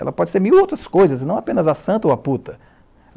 Ela pode ser mil outras coisas, não apenas a santa ou a puta.